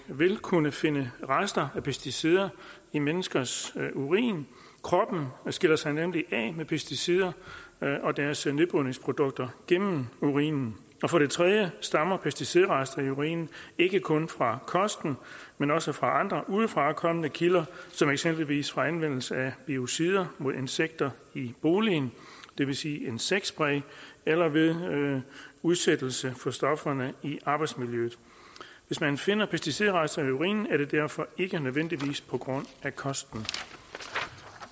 vil kunne finde rester af pesticider i menneskers urin kroppen skiller sig nemlig af med pesticider og deres nedbrydningsprodukter gennem urinen for det tredje stammer pesticidrester i urinen ikke kun fra kosten men også fra andre udefrakommende kilder som eksempelvis fra anvendelsen af biocider mod insekter i boligen det vil sige insektspray eller ved udsættelse for stofferne i arbejdsmiljøet hvis man finder pesticidrester i urinen er det derfor ikke nødvendigvis på grund af kosten